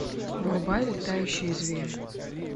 врубай летающие звери